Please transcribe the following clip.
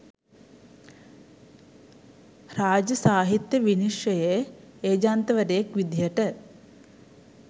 රාජ්‍ය සාහිත්‍ය විනිශ්චයේ ඒජන්තවරයෙක් විදිහට